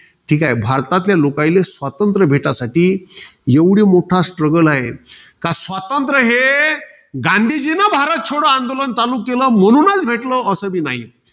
ठीके? भारतातल्या, लोकाईले स्वातंत्र्य भेटासाठी एवढी मोठा strugle आहे. कारण स्वातंत्र्य हे, गांधीजीन भारत छोडो आंदोलन चालू केलं म्हणूनच भेटलं. असं नाही.